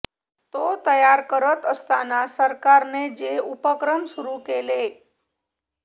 तो तयार करत असताना सरकारने जे उपक्रम सुरू केले